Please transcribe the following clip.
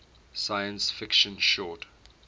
science fiction short